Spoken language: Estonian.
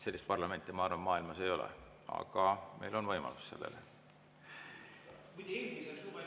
Sellist parlamenti, ma arvan, maailmas ei ole, aga meil on see võimalus.